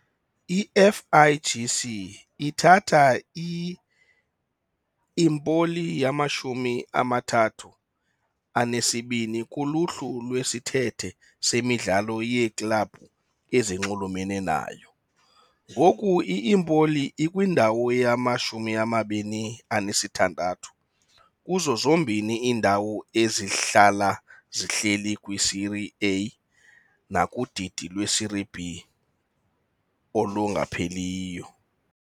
I- FIGC ithatha i-Empoli yamashumi amathathu anesibini kuluhlu lwesithethe semidlalo yeeklabhu ezinxulumene nayo. Ngoku i-Empoli ikwindawo yama-26 kuzo zombini iindawo ezihlala zihleli kwiSerie A nakudidi lweSerie B olungapheliyo.